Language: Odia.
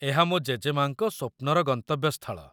ଏହା ମୋ ଜେଜେମା'ଙ୍କ ସ୍ୱପ୍ନର ଗନ୍ତବ୍ୟସ୍ଥଳ।